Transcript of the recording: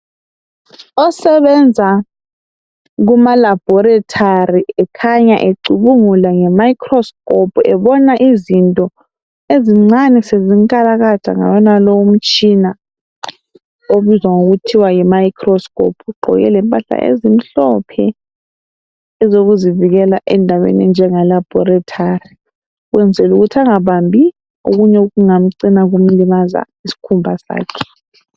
Osebenza kuma Laboratory ekhanya ecubungula ngemicroscope ebona izinto ezincane sezinkalakatha ngawonalowo umtshina obizwa ngokuthiwa yi microscope ,ugqoke lempahla ezimhlophe ezokuzivikela endaweni enjenge laboratory ukwenzela ukuthi angabambi okunye okungacina kumlimaza isikhumba sakhe